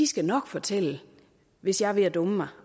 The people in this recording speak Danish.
skal nok fortælle hvis jeg er ved at dumme mig